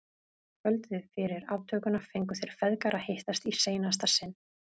Kvöldið fyrir aftökuna fengu þeir feðgar að hittast í seinasta sinn.